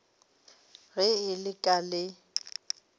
ge e le ka le